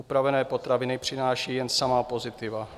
Upravené potraviny přináší jen samá pozitiva.